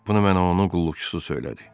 Bunu mənə onun qulluqçusu söylədi.